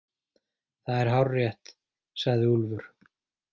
Það er hárrétt, sagði Úlfur.